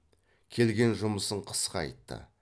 келген жұмысын қысқа айтты